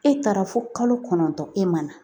E taara fo kalo kɔnɔntɔn e ma na .